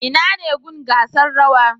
Inane gun gasar rawa